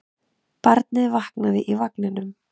Barnið vaknaði í vagninum.